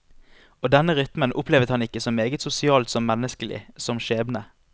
Og denne rytmen opplevet han ikke så meget sosialt som menneskelig, som skjebne.